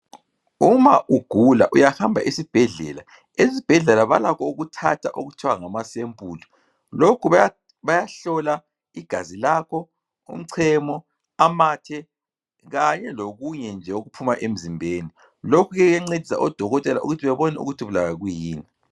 Uma ugula uyahamba esibhedlela. Esibhedlela balakho ukuthatha okuthwa ngamasempuli. Lokhu bayahlola igazi lakho, umchemo, amathe kanye lokunye nje okuphuma emzimbeni. Lokhu ke kuyancedisa odokotela ukuthi bebone ukuthi ubulawa yikuyini.